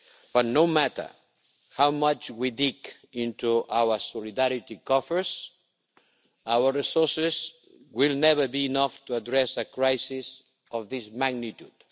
But, no matter how much we dig into our solidarity coffers, our resources will never be enough to address a crisis of this magnitude.